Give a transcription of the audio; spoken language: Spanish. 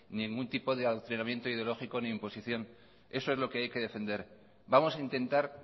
ningún tipo de adoctrinamiento ideológico ni imposición eso es lo que hay que defender vamos a intentar